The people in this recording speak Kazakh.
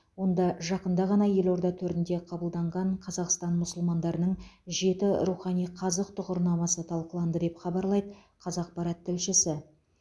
онда жақында ғана елорда төрінде қабылданған қазақстан мұсылмандарының жеті рухани қазық тұғырнамасы талқыланды деп хабарлайды қазақпарат тілшісі